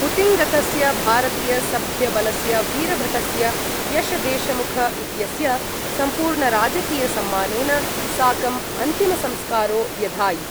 हुतिङ्गतस्य भारतीयसभ्यबलस्य वीरभटस्य यशदेशमुख इत्यस्य सम्पूर्णराजकीयसम्मानेन साकं अन्तिमसंस्कारो व्यधायि।